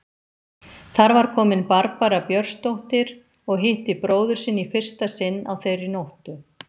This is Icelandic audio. Þar var komin Barbara Björnsdóttir og hitti bróður sinn í fyrsta sinn á þeirri nóttu.